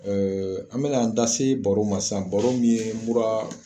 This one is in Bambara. an bɛ n'an da se baro ma sisan baro min ye mura.